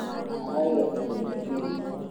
Agaĩirwo indo nyingĩ nĩ ithe